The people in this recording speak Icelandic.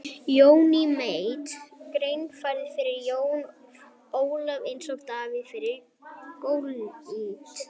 Johnny Mate gnæfði yfir Jóni Ólafi eins og Davíð yfir Golíat.